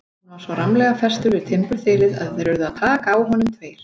Hann var svo rammlega festur við timburþilið að þeir urðu að taka á honum tveir.